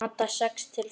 Handa sex til sjö